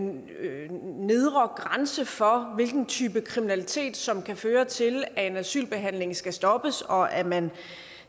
nedre grænse for hvilken type kriminalitet som kan føre til at en asylbehandling skal stoppes og at man